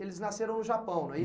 Eles nasceram no Japão, não é